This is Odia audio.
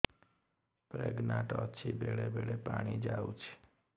ପ୍ରେଗନାଂଟ ଅଛି ବେଳେ ବେଳେ ପାଣି ଯାଉଛି